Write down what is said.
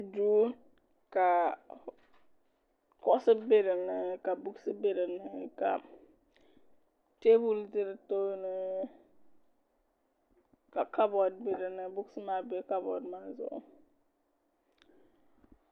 duu ka kuɣusi bɛ dinni ka buuks bɛ dinni ka teebuli bɛ di tooni ka kabood bɛ dinni buuks nim maa bɛ kabood maa zuɣu